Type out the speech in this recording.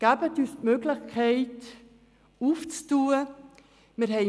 Geben Sie uns die Möglichkeit, unsere Geschäfte zu öffnen.